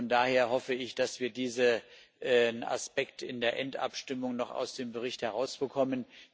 Von daher hoffe ich, dass wir diesen Aspekt in der Endabstimmung noch aus dem Bericht herausbekommen.